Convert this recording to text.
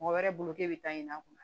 Mɔgɔ wɛrɛ bolo k'e bɛ taa ɲin'a kun